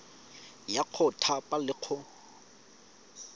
ya go thapa le go